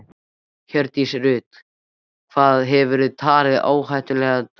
Hjördís Rut: Hvað hefðirðu talið ásættanlegan dóm?